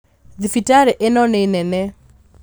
Thibitarĩ ĩno nĩ nene